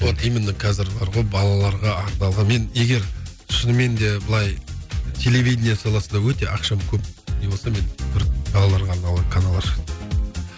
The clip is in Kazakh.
вот именно қазір бар ғой балаларға арналған мен егер шынымен де былай телевидение саласында өте ақшам көп не болса мен бір балаларға арналған канал ашатын